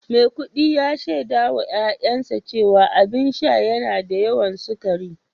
Maikudi ya shaida wa ’ya’yansa cewa abin sha yana da yawan sukari